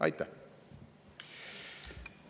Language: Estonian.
Aitäh!